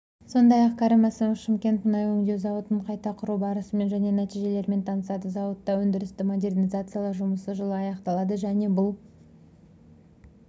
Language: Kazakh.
сондай-ақ кәрім мәсімов шымкент мұнай өңдеу зауытын қайта құру барысымен және нәтижелерімен танысады зауытта өндірісті модернизациялау жұмысы жылы аяқталады және бұл